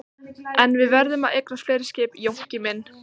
En við verðum að eignast fleiri skip Jónki minn.